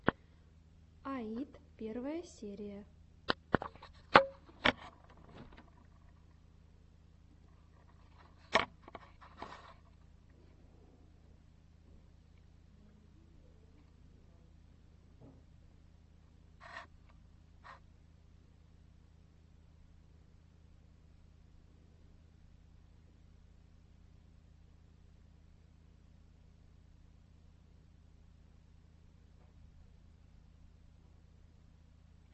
аид первая серия